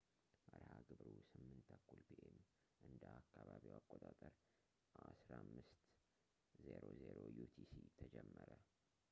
መርሃ ግብሩ 8:30 ፒ.ኤም እንደ አካባቢው አቆጣጠር 15.00 ዩቲሲ ተጀመረ